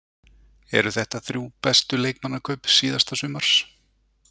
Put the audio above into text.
Eru þetta þrjú bestu leikmannakaup síðasta sumars?